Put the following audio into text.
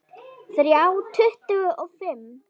Þrjá tuttugu og fimm